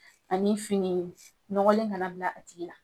Ani fini nɔgɔlen kana bila a tigi la.